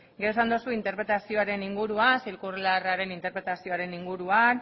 gero esan dozu interpretazioaren inguruan zirkularraren interpretazioaren inguruan